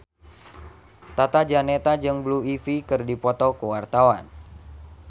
Tata Janeta jeung Blue Ivy keur dipoto ku wartawan